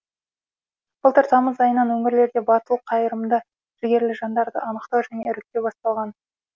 былтыр тамыз айынан өңірлерде батыл қайырымды жігерлі жандарды анықтау және іріктеу басталған